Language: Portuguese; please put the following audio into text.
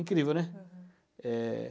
Incrível, né? Aham. É...